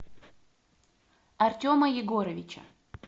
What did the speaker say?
артема егоровича